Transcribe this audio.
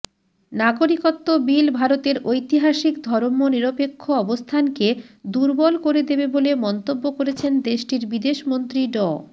নাগরিকত্ব বিল ভারতের ঐতিহাসিক ধর্মনিরপেক্ষ অবস্থানকে দুর্বল করে দেবে বলে মন্তব্য করেছেন দেশটির বিদেশমন্ত্রী ড